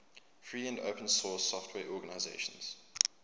free and open source software organizations